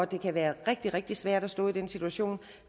det kan være rigtig rigtig svært at stå i den situation